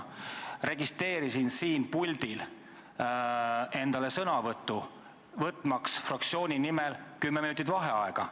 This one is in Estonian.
Ma registreerisin siin puldil sõnavõtusoovi, võtmaks fraktsiooni nimel kümme minutit vaheaega.